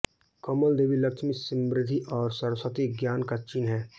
कमल देवी लक्ष्मी समृद्धि और सरस्वती ज्ञान का चिह्न है